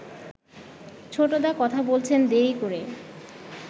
ছোটদা কথা বলেছেন দেরি করে